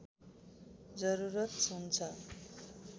जरुरत हुन्छ